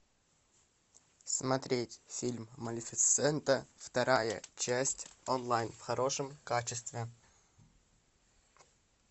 смотреть фильм малефисента вторая часть онлайн в хорошем качестве